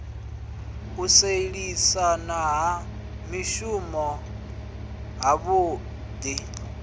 u sielisana ha mishumo havhui